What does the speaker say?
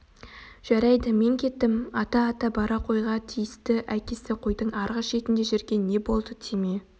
жарайды мен кеттім ата ата бара қойға тиісті әкесі қойдың арғы шетінде жүрген не болды тиме